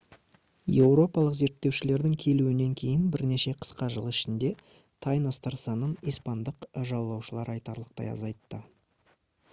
еуропалық зерттеушілердің келуінен кейін бірнеше қысқа жыл ішінде тайностар санын испандық жаулаушылар айтарлықтай азайтты